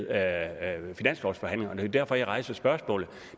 er jo derfor jeg rejser spørgsmålet